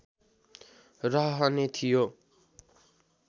रहने थियो